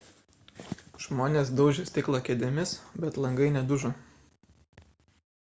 žmonės daužė stiklą kėdėmis bet langai nedužo